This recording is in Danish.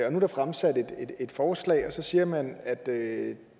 er der fremsat et forslag og så siger man at det